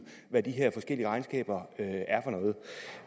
hvad de her forskellige regnskaber